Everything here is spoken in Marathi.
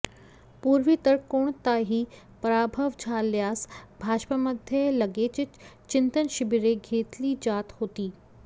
पूर्वी तर कोणताही पराभव झाल्यास भाजपमध्ये लगेचच चिंतन शिबिरे घेतली जात होती